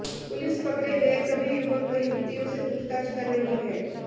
police पकड़े गए सभी युवक व युवतियों से पूछताछ कर रही है